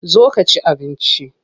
Zo ka ci abinci.